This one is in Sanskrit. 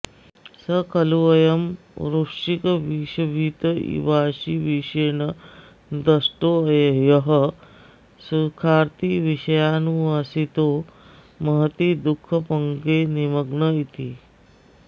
स खल्वयं वृश्चिकविषभीत इवाशीविशेण दष्टो यः सुखार्थी विषयानुवासितो महति दुःखपङ्के निमग्न इति